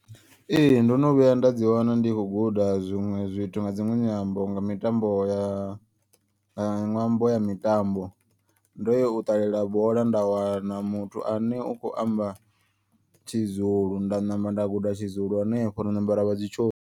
Ee ndono vhuya nda dzi wana ndikho guda zwiṅwe zwithu nga dziṅwe nyambo nga mitambo ya nga ṅwambo ya mitambo. Ndo ya u ṱalela bola nda wana muthu ane u kho amba tshizulu. Nda namba nda guda tshizulu henefho nda ṋamba ra vha dzi tsho.